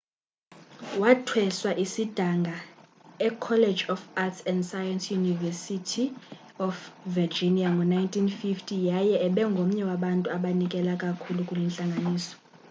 wathweswa isidanga ecollege of arts & sciences yeuniversity of virginia ngo-1950 yaye ebengomnye wabantu abanikela kakhulu kule ntlangano